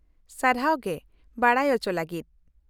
-ᱥᱟᱨᱦᱟᱣ ᱜᱮ ᱵᱟᱰᱟᱭ ᱚᱪᱚ ᱞᱟᱹᱜᱤᱫ ᱾